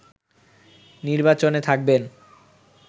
নির্বাচনে থাকবেন